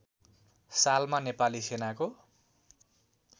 सालमा नेपाली सेनाको